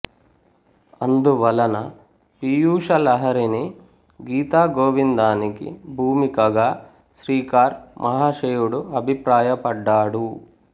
అందువలన పీయూష లహరిని గీత గోవిందానికి భూమికగా శ్రీకార్ మహాశయుడు అభిప్రాయపడ్డాడు